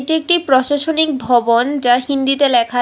এটি একটি প্রশাসনিক ভবন যা হিন্দিতে ল্যাখা আ--